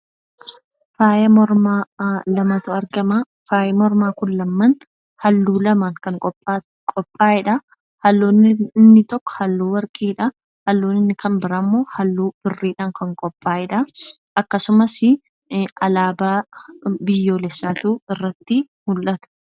Faaya mormaa lamatu argama. Faayi mormaa kun lamman halluu lamaan kan qophaa'edha. Halluu inni tokko halluu warqiidha. Halluu inni kan biraammoo halluu birriidhaan kan qophaa'edha. Akkasumasii alaabaa biyyoolessaatu irratti mul'ata.